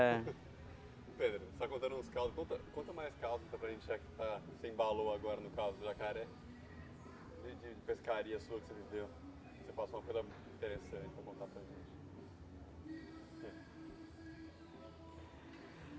É. Pedro, você está contando uns causos, conta conta mais causos para a gente já que ah você embalou agora no causo do jacaré, e de pescaria sua que você viveu, o que você passou interessante para contar para a gente.